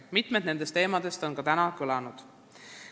Mitmed nendest teemadest on ka täna kõlanud.